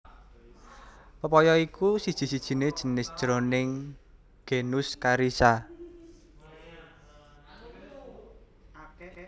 papaya iku siji sijiné jinis jroning genus Carica